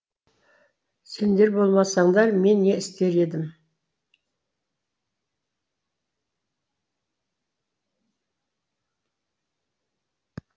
сендер болмасаңдар мен не істер едім